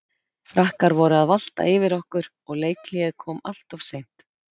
Frakkar voru að valta yfir okkur og leikhléið kom alltof seint.